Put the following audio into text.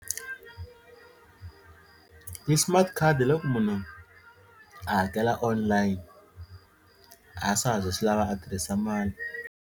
Ti-smart card hi loko munhu a hakela online a swa ha zi swi lava a tirhisa mali.